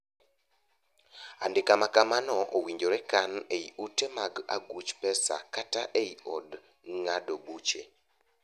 Andika ma kamano owinjore kan ei ute mag aguch pesa kata ei od ng'ado buche.